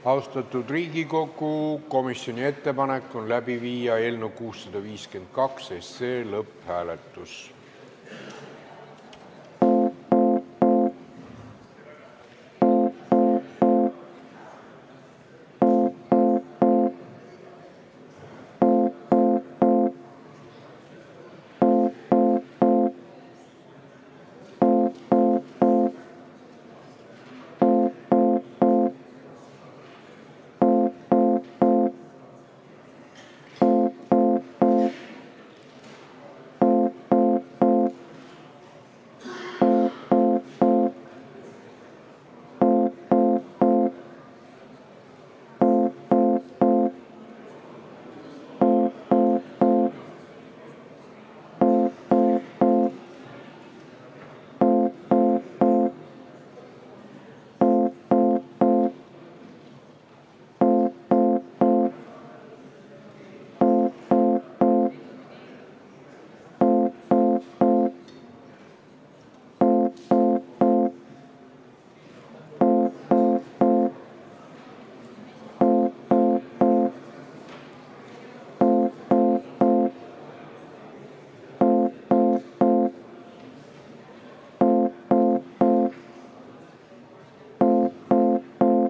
Austatud Riigikogu, komisjoni ettepanek on panna eelnõu 652 lõpphääletusele.